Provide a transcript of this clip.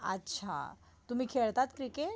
अच्छा, तुम्ही खेळतात क्रिकेट?